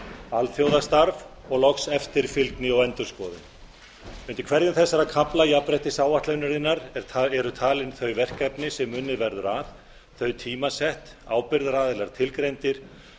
alþjóðastarf og loks eftirfylgni og endurskoðun undir hverjum þessara kafla jafnréttisáætlunarinnar eru talin þau verkefni sem unnið verður að þau tímasett ábyrgðaraðilar tilgreindir